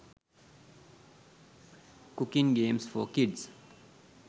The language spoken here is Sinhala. cooking games for kids